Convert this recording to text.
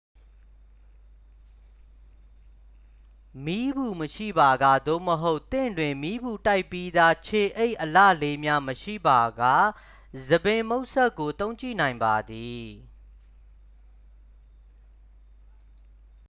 မီးပူမရှိပါက သို့မဟုတ် သင့်တွင် မီးပူတိုက်ပြီးသား ခြေအိပ်အလှလေးများ မရှိပါက ဆံပင်မှုတ်စက်ကို သုံးကြည့်နိုင်ပါသည်